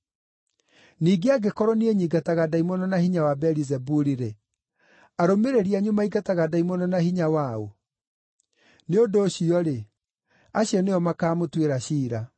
Ningĩ angĩkorwo niĩ nyingataga ndaimono na hinya wa Beelizebuli-rĩ, arũmĩrĩri anyu maingataga ndaimono na hinya wa ũ? Nĩ ũndũ ũcio-rĩ, acio nĩo makaamũtuĩra ciira.